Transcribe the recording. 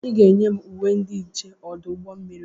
Ị ga-enye m uwe ndị nche ọdụ ụgbọ mmiri a!